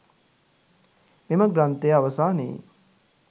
මෙම ග්‍රන්ථය අවසානයේ